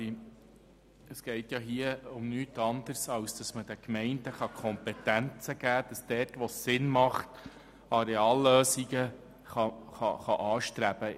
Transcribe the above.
Hier geht es um nichts anderes als um die Möglichkeit, den Gemeinden die Kompetenz zu geben, dort wo es sinnvoll ist, Areallösungen anzustreben.